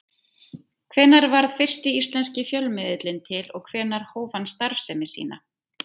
Hvenær varð fyrsti íslenski fjölmiðillinn til og hvenær hóf hann starfsemi sína?